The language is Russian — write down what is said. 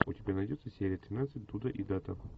у тебя найдется серия тринадцать дуда и дада